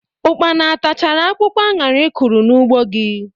Ụkpana o tachara akwụkwọ añara ị kụrụ n'ugbọ gị?